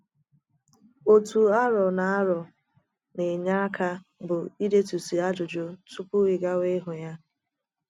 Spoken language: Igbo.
Otu arọ na arọ na - enye aka bụ idetusị ajụjụ tupu ị gawa ịhụ ya.